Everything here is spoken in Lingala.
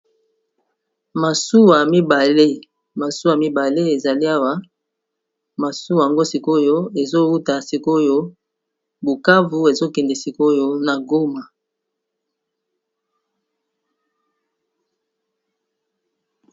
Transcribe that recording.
Masuwa mibale, masuwa mibale ezali awa. Masuwa yango sik'oyo, ezo wuta sik'oyo Bukavu, ezo kende sik'oyo na Goma .